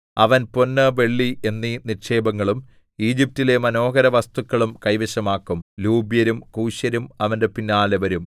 അവൻ പൊന്ന് വെള്ളി എന്നീ നിക്ഷേപങ്ങളും ഈജിപ്റ്റിലെ മനോഹര വസ്തുക്കളും കൈവശമാക്കും ലൂബ്യരും കൂശ്യരും അവന്റെ പിന്നാലെ വരും